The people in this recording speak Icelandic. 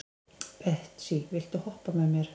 Betsý, viltu hoppa með mér?